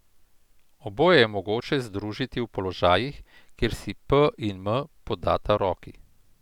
Oboje je mogoče združiti v položajih, kjer si P in M podata roki.